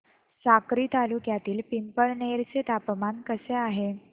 साक्री तालुक्यातील पिंपळनेर चे तापमान कसे आहे